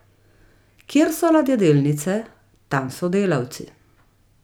Kjer so ladjedelnice, tam so delavci.